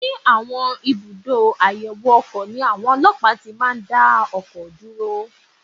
Ní àwọn ibùdó àyẹ̀wò ọkọ̀ ni àwọn ọlọ́pàá ti máa ń dá ọkọ̀ dúró